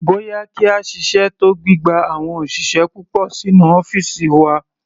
Bóyá kí a ṣiṣẹ́ tọ gbígba àwọn òṣìṣẹ́ púpọ̀ sínú ọ́fìsì wa.